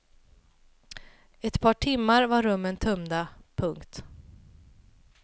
Efter ett par timmar var rummen tömda. punkt